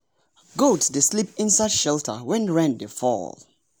goat dey sleep inside shelter when rain dey fall.